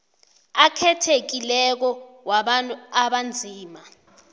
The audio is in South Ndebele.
akhethekileko wabantu abanzima